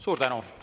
Suur tänu!